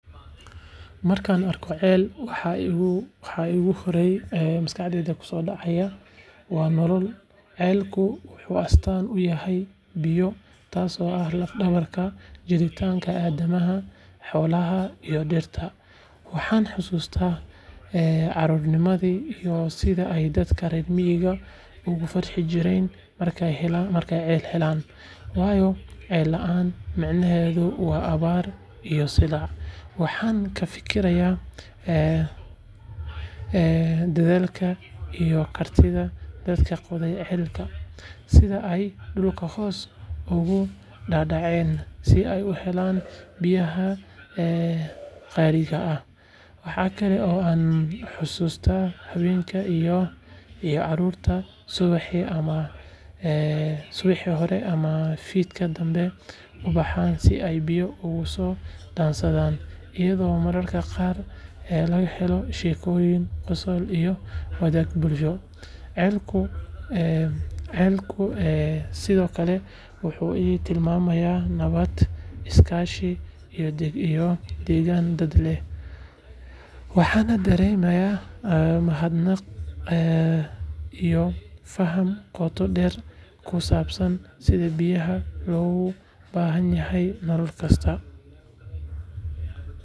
Markaan arko ceel, waxa ugu horreeya ee maskaxdayda ku soo dhaca waa nolol. Ceelku wuxuu astaan u yahay biyo, taasoo ah laf-dhabarta jiritaanka aadanaha, xoolaha, iyo dhirta. Waxaan xasuustaa carruurnimadii iyo sida ay dadka reer miyigu ugu farxi jireen markay ceel helaan, waayo ceel la’aan micnaheedu waa abaari iyo silac. Waxaan ka fikirayaa dadaalka iyo kartida dadka qoday ceelka, sida ay dhulka hoose ugu dhaadhaceen si ay u helaan biyaha qaaliga ah. Waxa kale oo aan xasuustaa haweenka iyo carruurta subaxdii hore ama fiidkii danbe u baxa si ay biyo uga soo dhaansadaan, iyadoo mararka qaar laga helo sheekooyin, qosol iyo wadaag bulsho. Ceelku sidoo kale wuxuu ii tilmaamaa nabad, is-kaashi iyo degaan dad leh. Waxaan dareemaa mahadnaq iyo faham qoto dheer oo ku saabsan sida biyaha loogu baahan yahay nolol kasta.